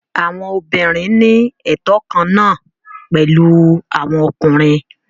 Àwọn obìnrin ní ẹtọ kan náà pẹ̀lú àwọn ọkùnrin.